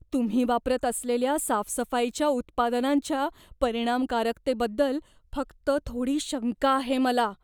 तुम्ही वापरत असलेल्या साफसफाईच्या उत्पादनांच्या परिणामकारकतेबद्दल फक्त थोडी शंका आहे मला.